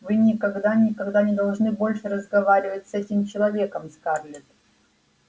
вы никогда никогда не должны больше разговаривать с этим человеком скарлетт